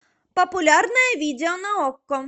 популярное видео на окко